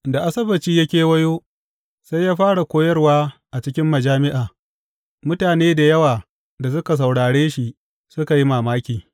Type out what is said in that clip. Da Asabbaci ya kewayo, sai ya fara koyarwa a cikin majami’a, mutane da yawa da suka saurare shi, suka yi mamaki.